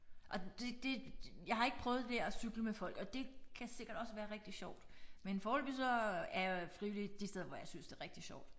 Og det det jeg har ikke prøvet det der at cykle med folk og det kan sikkert også være rigtig sjovt men foreløbig så er jeg frivillig de steder hvor jeg synes det er rigtig sjovt